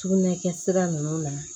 Sugunɛ kɛ sira nunnu na